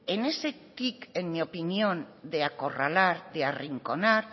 en ese tic en mi opinión de acorralar de arrinconar